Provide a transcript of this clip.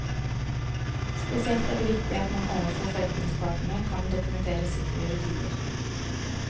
Spesielt er det viktig at man overfor forretningspartnere kan dokumentere sikre rutiner.